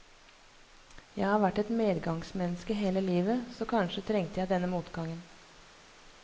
Jeg har vært et medgangsmenneske hele livet, så kanskje trengte jeg denne motgangen.